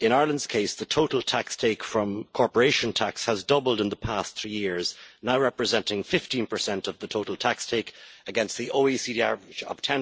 In Ireland's case the total take from corporation tax has doubled in the past three years, now representing 15 of the total tax take, as against the OECD average of